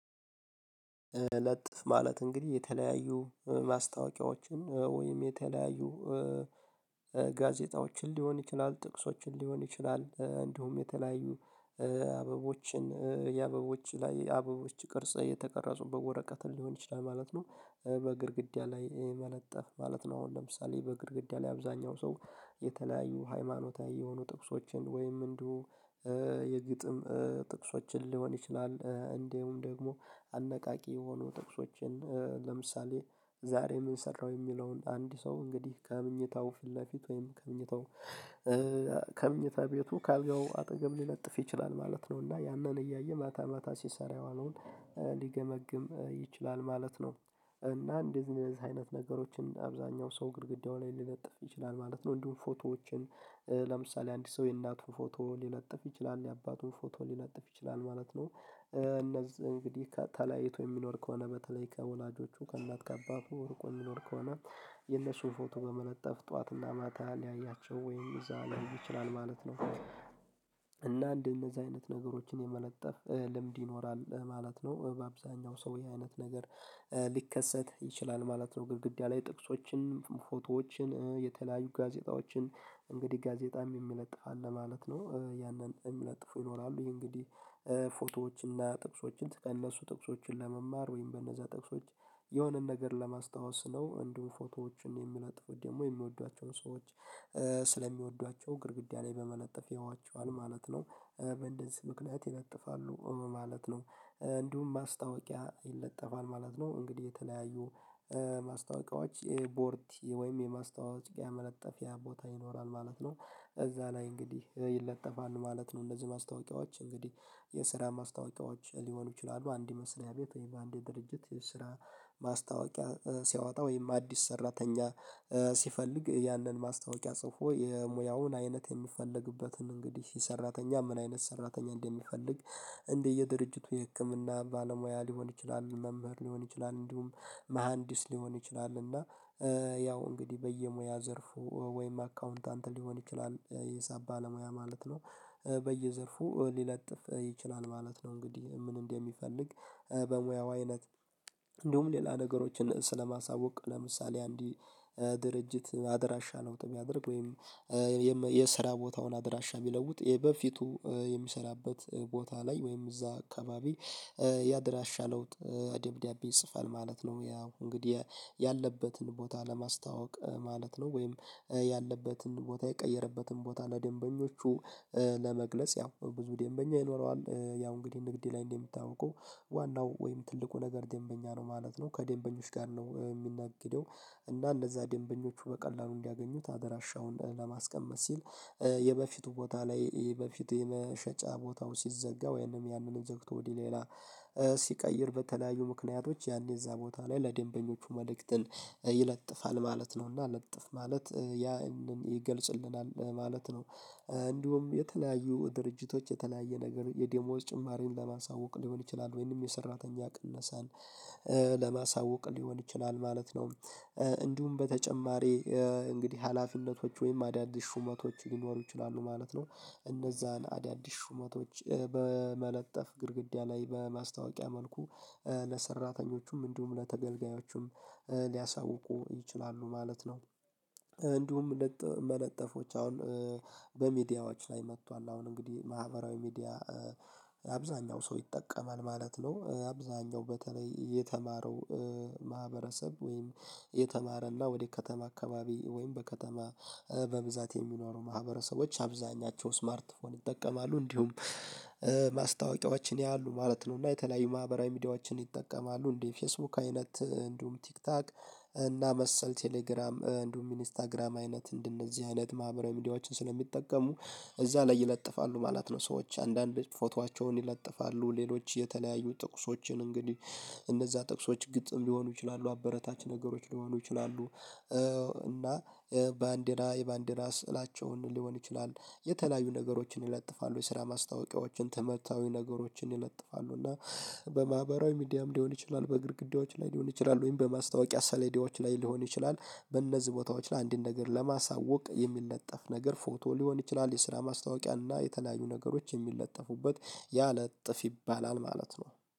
ለጥፍ ማለት እንግዲህ የተለያዩ ማስታወቂያዎችን ወይም የተለያዩ ጋዜጣዎችን ሊሆን ይችላል ጥቅሶችን ሊሆን ይችላል እንዲሁም የተለያዩ አበቦችን የአበቦች ላይ አበቦች ቅርጽ የተቀረጹበት ወረቀትን ሊሆን ይችላል ማለት ነው። በግድግዳ ላይ መለጠፍ ማለት ነው። አሁን ለምሳሌ በግድግዳ ላይ አብዛኛው ሰው የተለያዩ ሃይማኖታዊ የሆኑ ጥቅሶችን ወይም እንደው የግጥም ጥቅሶችን ሊሆን ይችላል እንዲሁም ደግሞ አነቃቂ የሆኑ ጥቅሶችን ለምሳሌ ዛሬ ምን ሰራው የሚለውን አንድ ሰው እንግዲህ ከምኝታው ፊት ለፊት ወይም ከምንታው ከምንታ ቤቱ ከአልጋው አጠገብ ሊለጥፍ ይችላል ማለት ነው። እና ያንን እያየ ማታ ማታ ሲሰራ የዋነውን ሊገመግም ይችላል ማለት ነው። እና እንደዚህ አይነት ነገሮችን አብዛኛው ሰው ግድግዳው ላይ ሊለጥፍ ይችላል ማለት ነው። እንዲሁም ፎቶዎችን ለምሳሌ አንድ ሰው የእናቱ ፎቶ ሊለጥፍ ይችላል የአባቱን ፎቶ ሊነጥፍ ይችላል ማለት ነው። እነዚህ እንግዲህ ተለያይቶ የሚኖር ከሆነ በተለይ ከወላጆቹ ከእናት ከአባቱ ወርቁ የሚኖር ከሆነ የነሽው ፎቶ በመነጠፍ ጠዋትና ማታ ሊያያቸው ወይም እዛ ሊያደርግ ይችላል ማለት ነው። እና እንደዚህ እነዚህ አይነት ነገሮችን የመለጠፍ ልምድ ይኖራል ማለት ነው። በአብዛኛው ሰው ይሄ አይነት ነገር ሊከሰት ይችላል ማለት ነው። ግድግዳ ላይ ጥቅሶችን ፎቶዎችን የተለያዩ ጋዜጣዎችን እንግዲህ ጋዜጣም የሚለጥፍ አለ ማለት ነው። ያንን የሚለጥፉ ይኖራሉ ይሄ እንግዲህ ፎቶዎችና ጥቅሶችን ከእነሱ ጥቅሶችን ለመማር ወይም በእነዛ ጥቅሶች የሆነን ነገር ለማስታወስ ነው። እንዲሁ ፎቶዎችን የሚለጥፉት ደግሞ የሚወዷቸውን ሰዎች ስለሚወዷቸው ግድግዳ ላይ በመለጠፍ ያዋቸዋል ማለት ነው። በእንደዚህ ምክንያት ይለጥፋሉ ማለት ነው እንዲሁም ማስታወቂያ ይለጠፋል ማለት ነው። እንግዲህ የተለያዩ ማስታወቂያዎች ይሄ ቦርት ወይም የማስታወቂያ መለጠፊያ ቦታ ይኖራል ማለት ነው። እዛ ላይ እንግዲህ ይለጠፋል ማለት ነው። እነዚህ ማስታወቂያዎች እንግዲህ የስራ ማስታወቂያዎች ሊሆኑ ይችላሉ አንድ የመሰለ ያቤት ወይ በአንድ የድርጅት የስራ ማስታወቂያ ሲያወጣ ወይም አዲስ ሰራተኛ ሲፈልግ ያንን ማስታወቂያ ጽፎ የሙያውን አይነት የሚፈለግበትን እንግዲህ ሰራተኛ ምን አይነት ሰራተኛ እንደሚፈልግ እንዲህ የድርጅቱ የህክምና ባለሙያ ሊሆን ይችላል። መምህር ሊሆን ይችላል እንዲሁም መሃንዲስ ሊሆን ይችላል እና ያው እንግዲህ በየሙያ ዘርፉ ወይም አካውንታንት ሊሆን ይችላል የሳብ ባለሙያ ማለት ነው። በየዘርፉ ሊለጥፍ ይችላል ማለት ነው። እንግዲህ ምን እንደሚፈልግ በሙያው አይነት እንዲሁም ሌላ ነገሮችን ስለማሳወቅ ለምሳሌ አንዲት ድርጅት አደራሻ ለውጥ የሚያደርግ ወይም የስራ ቦታውን አድራሻ ቢለውጥ ይሄ በፊቱ የሚሰራበት ቦታ ላይ ወይም እዛ አካባቢ ያደራሻ ለውጥ አደብዳቤ ይጽፋል ማለት ነው። ያው እንግዲህ ያለበትን ቦታ ለማስታወቅ ማለት ነው። ወይም ያለበትን ቦታ የቀየረበትን ቦታ ለደንበኞቹ ለመግለጽ ያው ብዙ ደንበኛ ይኖረዋል ያው እንግዲህ ንግዴ ላይ እንደምታውቀው ዋናው ወይም ትልቁ ነገር ደንበኛ ነው ማለት ነው። ከደንበኞች ጋር ነው የሚናገደው። እና እንደዛ ድንበኞቹ በቀላሉ እንዲያገኙት አደራሻውን ለማስቀመጥ ሲል የበፊቱ ቦታ ላይ በፊት የመሸጫ ቦታው ሲዘጋ ወይም ያንንም ዘግቶ ወዲህ ሌላ ሲቀይር በተለያዩ ምክንያቶች ያኔ እዛ ቦታ ላይ ለደንበኞቹ መልእክትን ይለጥፋል ማለት ነውና ለጥፍ ማለት ያ ይገልጽልናል ማለት ነው። እንዲሁም የተለያዩ ድርጅቶች የተለያየ ነገር የዴሞስ ጭማሪን ለማሳወቅ ሊሆን ይችላል ወይም የሰራተኛ ቅነሳን ለማሳወቅ ሊሆን ይችላል ማለት ነው። እንዲሁም በተጨማሪ እንግዲህ ሀላፊነቶች ወይም አዳዲስ ሹመቶች ሊኖሩ ይችላሉ ማለት ነው። እነዛን አዳዲስ ሹመቶች በመለጠፍ ግድግዳ ላይ በማስታወቂያ መልኩ ለሰራተኞቹም እንዲሁም ለተገልጋዮቹም ሊያሳውቁ ይችላሉ ማለት ነው። እንዲሁም መለጠፎች አሁን በሚዲያዎች ላይ መጥቷል አሁን እንግዲህ ማህበራዊ ሚዲያ አብዛኛው ሰው ይጠቀማል ማለት ነው። አብዛኛው በተለይ የተማረው ማህበረሰብ ወይም የተማረና ወደ ከተማ አካባቢ ወይም በከተማ በብዛት የሚኖሩ ማህበረሰቦች አብዛኛቸው ስማርት ፎን ይጠቀማሉ እንዲሁም ማስታወቂያዎችን ያሉ ማለት ነው። እና የተለያዩ ማህበራዊ ሚዲያዎችን ይጠቀማሉ እንዴ ፌስቡክ አይነት እንዲሁም ቲክታክ እና መሰል ቴሌግራም እንዲሁም ኢንስታግራም አይነት እንደነዚህ አይነት ማህበራዊ ሚዲያዎችን ስለሚጠቀሙ እዛ ላይ ይለጥፋሉ ማለት ነው። ሰዎች አንዳንድ ፎቶአቸውን ይለጥፋሉ ሌሎች የተለያዩ ጥቅሶችን እንግዲህ እነዛ ጥቅሶች ግጥም ሊሆኑ ይችላሉ አበረታች ነገሮች ሊሆኑ ይችላሉ። እና ባንዴና የባንዲና ስዕላቸውን ሊሆን ይችላል የተለያዩ ነገሮችን ይለጥፋሉ የስራ ማስታወቂያዎችን ተመታዊ ነገሮችን ይለጥፋሉ እና በማህበራዊ ሚዲያም ሊሆን ይችላል። በእግር ግዴዎች ላይ ሊሆን ይችላል ወይም በማስታወቂያ ሰሌዲዎች ላይ ሊሆን ይችላል። በእነዚህ ቦታዎች ላይ አንዲን ነገር ለማሳወቅ የሚል ነጠፍ ነገር ፎቶ ሊሆን ይችላል የስራ ማስታወቂያ እና የተለያዩ ነገሮች የሚለጠፉበት ያ ለጥፍ ይባላል ማለት ነው